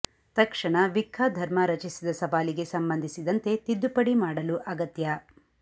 ತಕ್ಷಣ ವಿಕ್ಕಾ ಧರ್ಮ ರಚಿಸಿದ ಸವಾಲಿಗೆ ಸಂಬಂಧಿಸಿದಂತೆ ತಿದ್ದುಪಡಿ ಮಾಡಲು ಅಗತ್ಯ